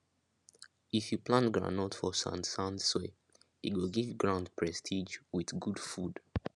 if you plant groundnut for sandsand soil e go give ground prestige with good food